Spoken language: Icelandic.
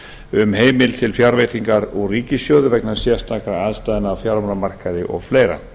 um heimild til fjárveitingar úr ríkissjóði vegna sérstakra aðstæðna á fjármálamarkaði og fleiri